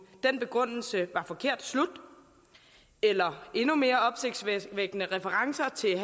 den begrundelse var forkert slut eller endnu mere opsigtsvækkende med referencer til